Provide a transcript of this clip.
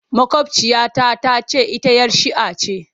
Maƙwabciya ta ta ce ita 'yar shia ce.